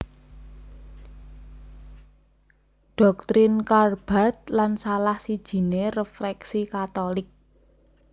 Doktrin Karl Barth lan salah sijiné refleksi Katolik